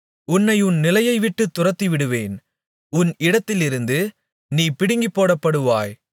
உன்னை உன் நிலையைவிட்டுத் துரத்திவிடுவேன் உன் இடத்திலிருந்து நீ பிடுங்கிப்போடப்படுவாய்